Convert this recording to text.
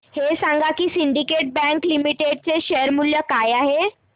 हे सांगा की सिंडीकेट बँक लिमिटेड चे शेअर मूल्य काय आहे